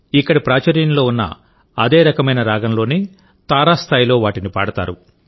ఇక్కడ ప్రాచుర్యంలో ఉన్న అదే రకమైన రాగంలోనే తారాస్థాయిలో వాటిని పాడతారు